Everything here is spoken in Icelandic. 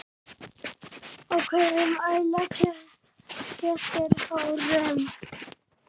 Af hverju æla kettir hárum?